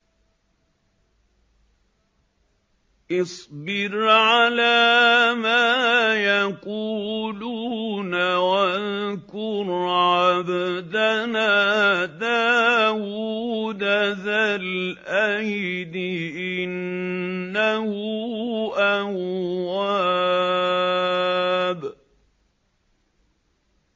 اصْبِرْ عَلَىٰ مَا يَقُولُونَ وَاذْكُرْ عَبْدَنَا دَاوُودَ ذَا الْأَيْدِ ۖ إِنَّهُ أَوَّابٌ